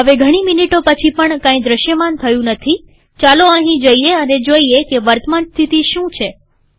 હવે ઘણી મીનીટો પછી પણ કઈ દ્રશ્યમાન થયું નથીચાલો અહીં જઈએ અને જોઈએ કે વર્તમાન સ્થિતિ શું છે